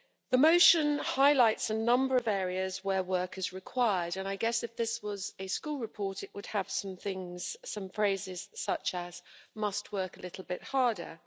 The motion highlights a number of areas where work is required and I guess if this was a school report, it would have some phrases such as must work a little bit harder'.